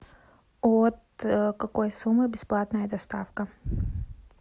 от какой суммы бесплатная доставка